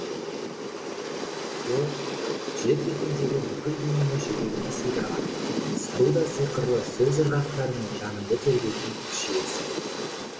ол жер бетіндегі бүкіл дүниені жүрегіне сыйдырған сұлу да сиқырлы сөз ырғақтарымен жаныңды тербейтін күш иесі